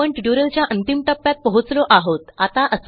आपण ट्युटोरियलच्या अंतिम टप्प्यात पोहोचलो आहोत